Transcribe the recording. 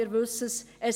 Wir wissen es.